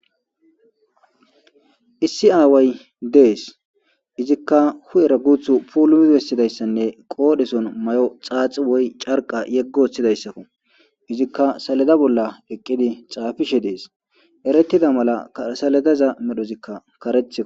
Issi away dees iziikka hu'erra guththu pulimi bessidayssanne qodhdhesson mayo xaxi woykko carqa yegi woththidayssakko iziikka salledda bolla eqiidi xapishshe dees erettidda mallakka saleddaza medhdhozikka kareththiikko